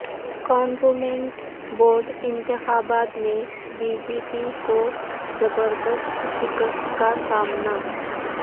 cantonment board انتخابات میں B J P کو زبرد ست شکست کا سامنا